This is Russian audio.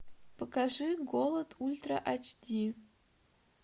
покажи голод ультра эйч ди